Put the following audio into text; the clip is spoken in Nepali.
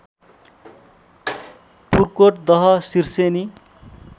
पुर्कोट दह सिर्सेनी